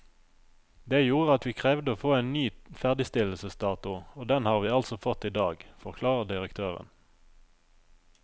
Det gjorde at vi krevde å få en ny ferdigstillelsesdato, og den har vi altså fått i dag, forklarer direktøren.